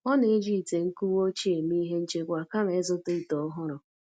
Ọ na-eji ite nkuwa ochie eme ihe nchekwa kama ị zụta ite ọhụrụ.